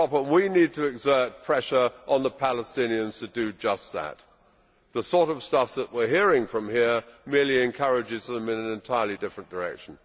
We need to exert pressure on the Palestinians to do just that. The sort of stuff that we are hearing from here merely encourages them in an entirely different direction.